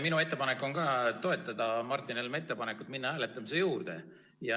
Minu ettepanek on toetada Martin Helme ettepanekut minna hääletamise juurde.